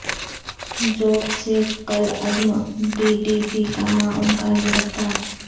ژوب سے کالعدم T T P کا معاون کار گرفتار